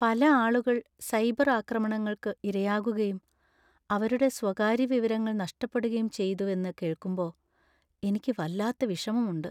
പല ആളുകൾ സൈബർ ആക്രമണങ്ങൾക്ക് ഇരയാകുകയും അവരുടെ സ്വകാര്യ വിവരങ്ങൾ നഷ്ടപ്പെടുകയും ചെയ്തുവെന്ന് കേൾക്കുമ്പോ എനിക്ക് വല്ലാത്ത വിഷമമുണ്ട് .